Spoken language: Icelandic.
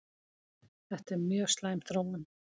Þetta er mjög slæm þróun